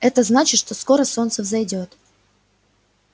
это значит что скоро солнце взойдёт